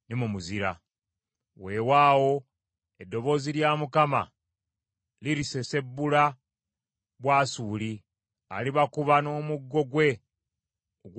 Weewaawo eddoboozi lya Mukama lirisesebbula Bwasuli, alibakuba n’omuggo gwe ogw’obwakabaka.